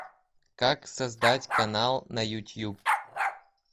как создать канал на ютуб